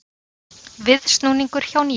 Viðsnúningur hjá Nýherja